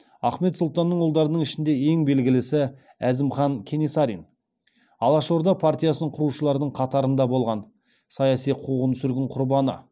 ахмет сұлтанның ұлдарының ішінде ең белгілісі әзімхан кенесарин алашорда партиясын құрушылардың қатарында болған саяси қуғын сүргін құрбаны